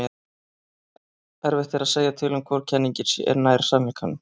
erfitt er að segja til um hvor kenningin sé nær sannleikanum